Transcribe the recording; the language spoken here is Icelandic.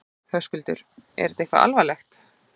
Höskuldur: Eitthvað alvarlegt?